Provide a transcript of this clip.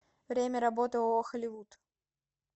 время работы ооо холлифуд